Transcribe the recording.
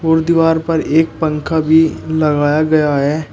और दीवार पर एक पंखा भी लगाया गया है।